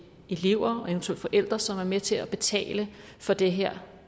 elever og eventuelle forældre som er med til at betale for det her